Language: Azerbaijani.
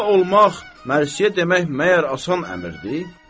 Molla olmaq, mərsiyə demək məyər asan əmrdir?